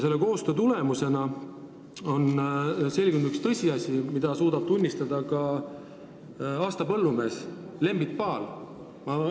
Selle koostöö tulemusena on selgunud üks tõsiasi, mida suudab tunnistada ka aasta põllumees Lembit Paal.